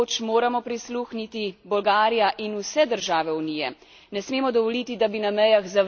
Ne smemo dovoliti, da bi na mejah zavračali ljudi, ki iščejo in potrebujejo mednarodno zaščito.